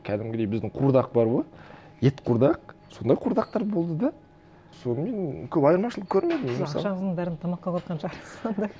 кәдімгідей біздің қуырдақ бар ғой ет қуырдақ сондай қуырдақтар болды да сонымен көп айырмашылық көрмедім мен мысалы ақшаңыздың бәрін тамаққа құртқан шығарсыз онда